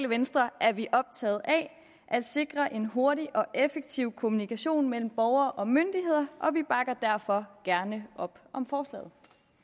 venstre er vi optaget af at sikre en hurtig og effektiv kommunikation mellem borgere og myndigheder og vi bakker derfor gerne op om forslaget